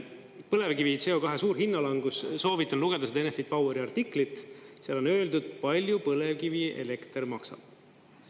Põlevkivi CO2 suur hinnalangus, soovitan lugeda seda Enefit Poweri artiklit, seal on öeldud, palju põlevkivielekter maksab.